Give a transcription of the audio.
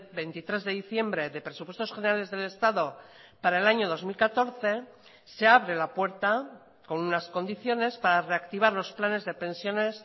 veintitrés de diciembre de presupuestos generales del estado para el año dos mil catorce se abre la puerta con unas condiciones para reactivar los planes de pensiones